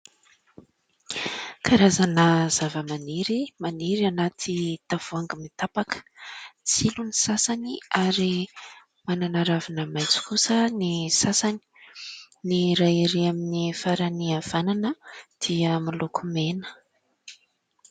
Karazana zava-maniry, maniry anaty tavohangy mitapaka : tsilo ny sasany ary manana raviny maitso kosa ny sasany, ny iray ery amin'ny farany havanana dia miloko mena.